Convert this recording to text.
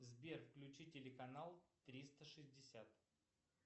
сбер включи телеканал триста шестьдесят